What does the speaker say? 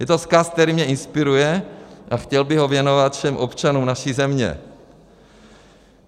Je to vzkaz, který mě inspiruje, a chtěl bych ho věnovat všem občanům naší země.